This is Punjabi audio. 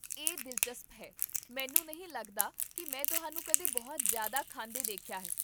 ਇਹ ਦਿਲਚਸਪ ਹੈ, ਮੈਨੂੰ ਨਹੀਂ ਲੱਗਦਾ ਕੀ ਮੈਂ ਤੁਹਾਨੂੰ ਕਦੇ ਬਹੁਤ ਜ਼ਿਆਦਾ ਖਾਂਦੇ ਦੇਖਿਆ ਹੈ